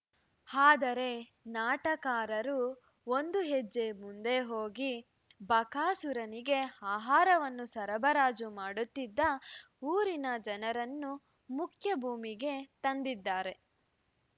ಆದರೆ ನಾಟಕಾರರು ಒಂದು ಹೆಜ್ಜೆ ಮುಂದೆ ಹೋಗಿ ಬಕಾಸುರನಿಗೆ ಆಹಾರವನ್ನು ಸರಬರಾಜು ಮಾಡುತ್ತಿದ್ದ ಊರಿನ ಜನರನ್ನು ಮುಖ್ಯ ಭೂಮಿಕೆಗೆ ತಂದಿದ್ದಾರೆ